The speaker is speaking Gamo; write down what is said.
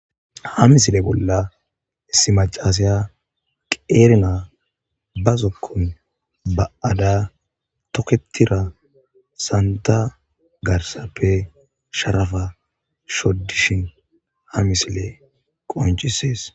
ha misile bolla issi macasiya qeer na ba zokkon ba7ada toketira santa garsappe sharafa shoddishin ha misile qoncisees